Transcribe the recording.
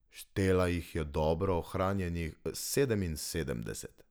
Štela jih je dobro ohranjenih sedeminsedemdeset.